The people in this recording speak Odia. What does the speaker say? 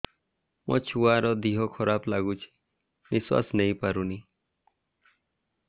ମୋ ଛୁଆର ଦିହ ଖରାପ ଲାଗୁଚି ନିଃଶ୍ବାସ ନେଇ ପାରୁନି